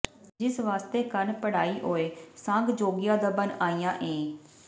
ਜਿਸ ਵਾਸਤੇ ਕੰਨ ਪੜਾਇਓਈ ਸਾਂਗ ਜੋਗੀਆਂ ਦਾ ਬਣ ਆਇਆ ਏਂ